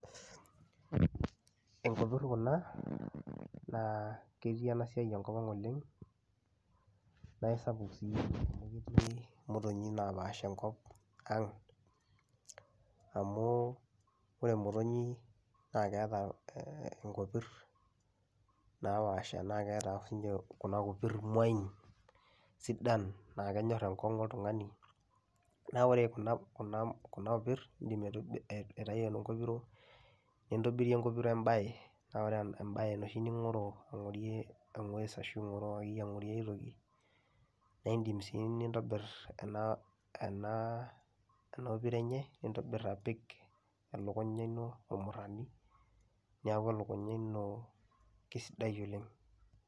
Inkopir kuna naa ketii ena siai enkop ang' oleng' nae sapuk sii amu keti motonyik napaasha enkop ang' amu ore motonyik naake eeta ee e nkopir napaasha, naake eeta apa siinje kuna kopir muain sidan naake enyor enkong'u oltung'ani, naa ore kuna kuna kuna opir iindim aitibi aitayu enkopiro nintobirie enkopiro embaye naa ore en embaye enoshi ning'oroo ang'orie eng'ues ashu ing'oroo akeyie ang'orie aitoki. Naa indim sii nintobir ena ena ena opiro enye nintobir apik elukunya ino ormurani neeku elukunya ino kesidai oleng'.